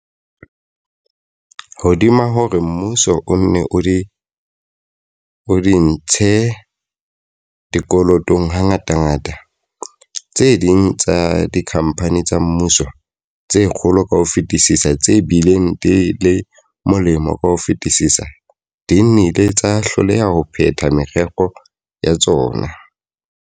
Hodima hore mmuso o nne o di ntshe dikolotong hangatangata, tse ding tsa dikhampani tsa mmuso, tse kgolo ka ho fetisisa, tse bileng di le molemo ka ho fetisisa, di nnile tsa hloleha ho phetha merero ya tsona.